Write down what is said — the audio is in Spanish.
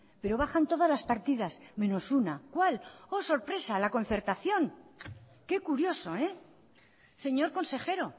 pero bajan todas las partidas menos una cuál oh sorpresa la concertación qué curioso señor consejero